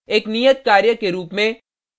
एक नियत कार्य के रुप में